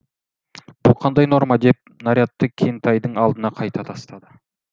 бұл қандай норма деп нарядты кентайдың алдына қайта тастады